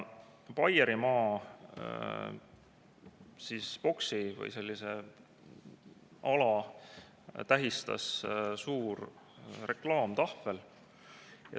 Baierimaa boksi või sellist ala tähistas suur reklaamtahvel.